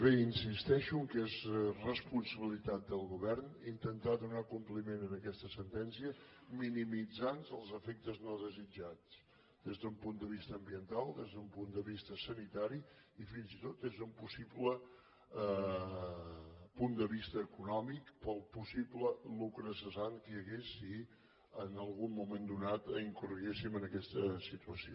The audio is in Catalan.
bé insisteixo que és responsabilitat del govern intentar donar compliment a aquesta sentència minimitzant els efectes no desitjats des d’un punt de vista ambiental des d’un punt de vista sanitari i fins i tot des d’un possible punt de vista econòmic pel possible lucre cessant que hi hagués si en algun moment donat incorreguéssim en aquesta situació